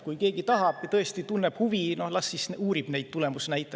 Kui keegi tahab, tõesti tunneb huvi, las ta siis uurib neid tulemusnäitajad.